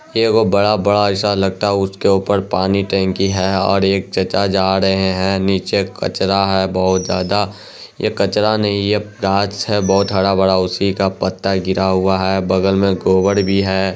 ये वो बड़ा-बड़ा ऐसा लगता है उसके ऊपर पानी टंकी है और एक चचा जा रहे है। नीचे कचरा है बहुत ज्यादा ये कचरा नहीं ये घास है बहुत हड़ा-भरा उसी का पत्ता गिरा हुआ है। बगल में गोबर भी है।